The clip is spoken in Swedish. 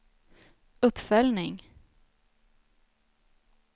uppföljning